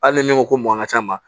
Hali ni min ko ko mɔn ka ca ma